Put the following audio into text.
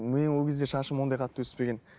менің ол кезде шашым ондай қатты өспеген